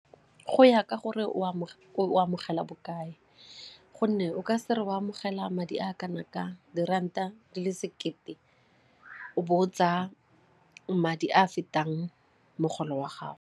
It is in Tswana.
Go ya ka gore o amogela bokae gonne o ka se re o amogela madi a kana ka diranta di le sekete o bo o tsaya madi a fetang mogolo wa gago.